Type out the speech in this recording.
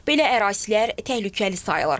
Belə ərazilər təhlükəli sayılır.